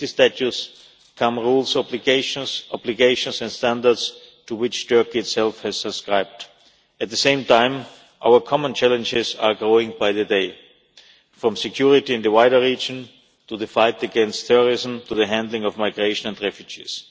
With the statutes come rules and obligations, obligations and standards to which Turkey itself has subscribed. At the same time, our common challenges are growing by the day, from security in the wider region to the fight against terrorism to the handling of migration and refugees.